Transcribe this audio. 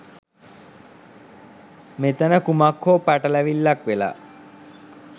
මෙතන කුමක් හෝ පටලැවිල්ලක් වෙලා.